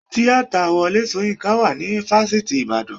Tíátà Wọlé Soyinka wà ní fáfitì ìbàdàn.